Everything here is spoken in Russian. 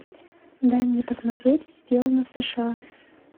дай мне посмотреть сделано в сша